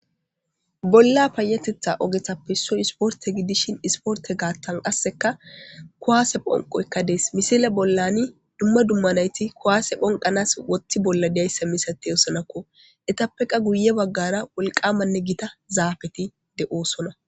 Bolla payatetha ogetappe isssoy isporte gidishin isporte gaattan qasseka kuwaase phonqoykka dees misile bollani dumma dummanayti kuwaase phonqanas wothti bolla diyayssa misati osanakko etappeqa guye baggara wolqamanne gita zaafeti de7oosona.